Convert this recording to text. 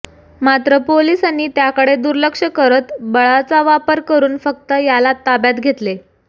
मात्र पोलिसांनी त्याकडे दुर्लक्ष करत बळाचा वापर करून फक्त याला ताब्यात घेतले